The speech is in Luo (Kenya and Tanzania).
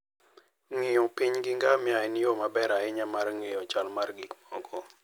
Ng'iyo piny gi ngamia en yo maber ahinya mar ng'eyo chal mar gik moko.